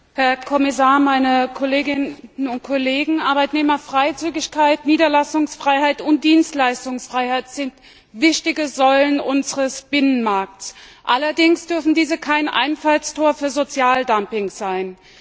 Herr Präsident, Herr Kommissar, meine Kolleginnen und Kollegen! Arbeitnehmerfreizügigkeit, Niederlassungsfreiheit und Dienstleistungsfreiheit sind wichtige Säulen unseres Binnenmarkts. Allerdings dürfen diese kein Einfallstor für Sozialdumping sein.